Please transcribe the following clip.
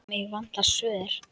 Mig vantar svör.